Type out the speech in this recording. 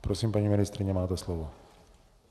Prosím, paní ministryně, máte slovo.